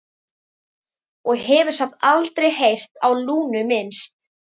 Og hefur samt aldrei heyrt á Lúnu minnst?